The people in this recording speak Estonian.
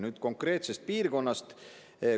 Nüüd konkreetsest piirkonnast.